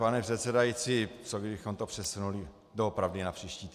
Pane předsedající, co kdybychom to přesunuli doopravdy na příští týden.